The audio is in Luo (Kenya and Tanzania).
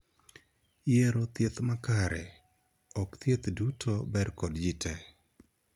Yiero thieth makare. Ok thieth duto ber kod jii tee.